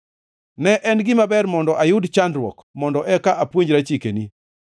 Ne en gima ber mondo ayud chandruok mondo eka apuonjra chikeni.